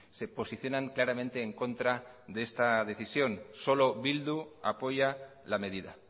se posicionan claramente en contra de esta decisión solo bildu apoya la medida